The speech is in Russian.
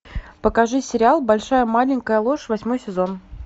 покажи сериал большая маленькая ложь восьмой сезон